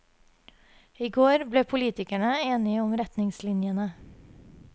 I går ble politikerne enige om retningslinjene.